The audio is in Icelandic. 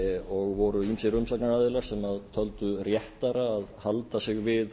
og voru ýmsir umsagnaraðilar sem töldu réttara að halda sig við